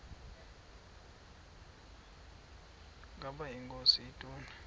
ukaba inkosi ituna